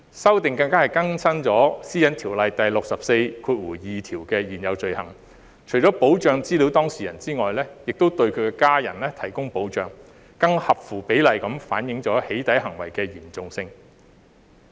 修訂更加更新了《私隱條例》第642條的現有罪行，除保障資料當事人外，亦對其家人提供保障，更合乎比例地反映"起底"行為的嚴重性。